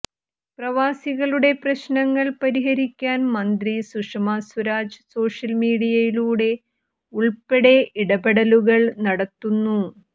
പ്രവാസികളുടെ പ്രശ്നങ്ങൾ പരിഹരിക്കാൻ മന്ത്രി സുഷമാ സ്വരാജ് സോഷ്യൽ മീഡിയയിലൂടെ ഉൾപ്പെടെ ഇടപെടലുകൾ നടത്തുന്നു